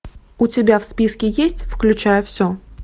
у тебя в списке есть включая все